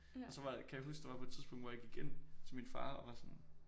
Og så var kan jeg huske der var på et tidspunkt hvor jeg gik til min far og var sådan